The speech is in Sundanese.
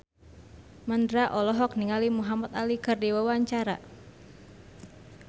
Mandra olohok ningali Muhamad Ali keur diwawancara